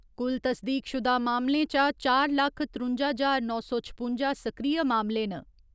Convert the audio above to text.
कुल तस्दीकशुदा मामलें चा चार लक्ख त्रुंजा ज्हार नौ सौ छपुंजा सक्रिय मामले न।